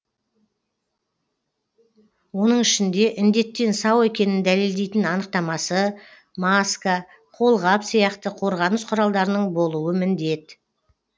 оның ішінде індеттен сау екенін дәлелдейтін анықтамасы маска қолғап сияқты қорғаныс құралдарының болуы міндет